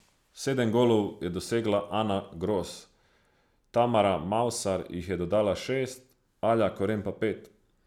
Sedem golov je dosegla Ana Gros, Tamara Mavsar jih je dodala šest, Alja Koren pa pet.